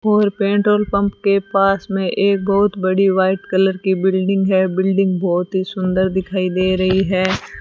और petrol pump के पास में एक बहुत बड़ी व्हाइट कलर की बिल्डिंग है बिल्डिंग बहुत ही सुंदर दिखाई दे रही है।